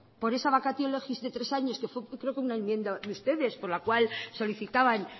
por esa vacatio legis de tres años que fue creo que una enmienda de ustedes por la cual solicitaban